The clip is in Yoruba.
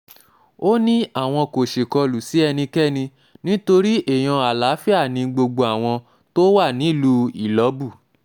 ó ní um àwọn kò ṣèkọlù sí ẹnikẹ́ni nítorí um èèyàn àlàáfíà ni gbogbo àwọn tó wà nílùú ìlọ́bù